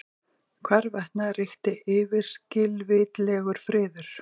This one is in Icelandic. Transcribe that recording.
Hvarvetna ríkti yfirskilvitlegur friður.